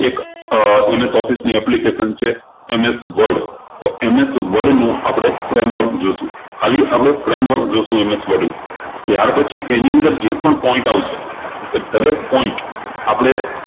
અર MS Office ની application છે MS Word તો MS Word નું આપણે framework જોશું ખાલી આપણે framework જોશું MS Word નું ત્યારપછી એની અંદર જે પણ point આવશે એ દરેક point આપણે